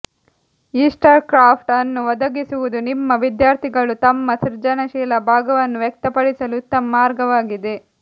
Easter craft ಅನ್ನು ಒದಗಿಸುವುದು ನಿಮ್ಮ ವಿದ್ಯಾರ್ಥಿಗಳು ತಮ್ಮ ಸೃಜನಶೀಲ ಭಾಗವನ್ನು ವ್ಯಕ್ತಪಡಿಸಲು ಉತ್ತಮ ಮಾರ್ಗವಾಗಿದೆ